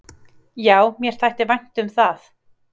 """Já, mér þætti vænt um það."""